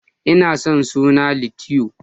Ina son suna Litiyo.